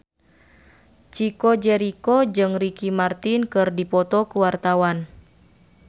Chico Jericho jeung Ricky Martin keur dipoto ku wartawan